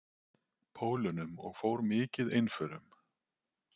Pólunum og fór mikið einförum.